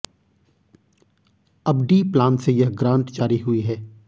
अब D plan से यह ग्रांट जारी हुई है